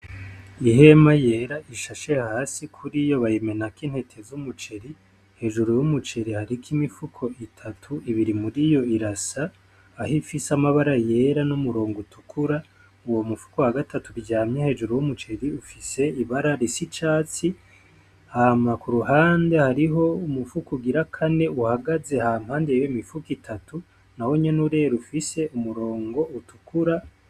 Ihema yera ishashe hasi kuriyo bayimenako intete z'umuceri, hejuru w'umuceri hariko imifuko itatu, ibiri muriyo irasa aho ifise amabara yera n'umurongo utukura uwo mupfuko wa gatatu uryamye hejuru w'umuceri ufise ibara risa icatsi, hama ku ruhande hariho umufuko ugira kane uhagaze hampande yiyo mifuko itatu nahonyene urera ufise umurongo utukura.